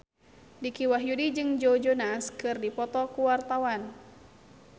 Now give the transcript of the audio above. Dicky Wahyudi jeung Joe Jonas keur dipoto ku wartawan